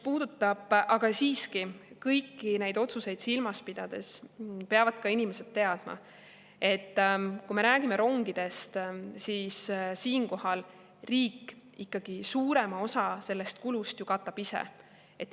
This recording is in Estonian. Aga siiski, kõiki neid otsuseid silmas pidades peavad inimesed teadma, et kui me räägime rongidest, siis riik ikkagi suurema osa sellest kulust ju katab ise.